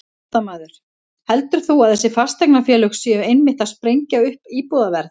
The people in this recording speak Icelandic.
Fréttamaður: Heldur þú að þessi fasteignafélög séu einmitt að sprengja upp íbúðaverð?